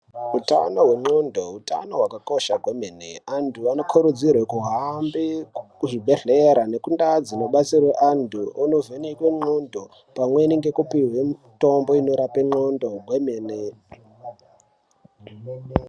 Hutano hendxondo hutano hwakakosha kwemene. Antu vanokurudzirwe kuhambe kuzvibhedhlera nekundaa dzinobatsirwa antu onovhenekwe ndxondo. Pamweni ngekupihwe mitombo inorape ndxondo hwemene.